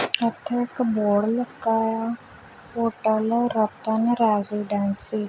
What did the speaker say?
ਉਥੇ ਇੱਕ ਬੋਰਡ ਲੱਗਾ ਆ ਹੋਟਲ ਰਤਨ ਰੈਜੀਡੈਂਸੀ ।